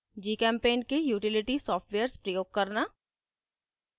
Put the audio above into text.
gchempaint के utility softwares प्रयोग करना